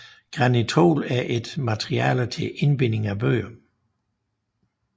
Granitol er et materiale til indbinding af bøger